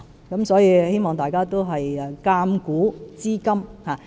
因此，我希望大家鑒古知今。